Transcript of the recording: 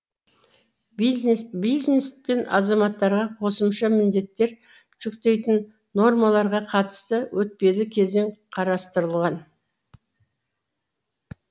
бизнес бизнес пен азаматтарға қосымша міндеттер жүктейтін нормаларға қатысты өтпелі кезең қарастырылған